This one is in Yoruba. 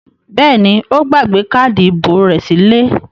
Bẹ́ẹ̀ ni, ó gbàgbé káádì ìbò rẹ̀ sílé.